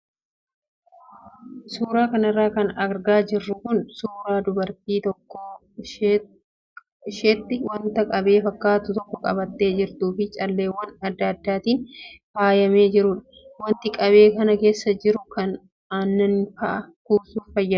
Suuraa kanarra kan argaa jirru kun suuraa dubartii harka isheetti wanta qabee fakkatu tokko qabattee jirtuu fi calleewwan adda addaatiin faayamee jirudha. Wanti qabee kana keessa jiru kan akka aannanii fa'aa kuusuuf fayyada.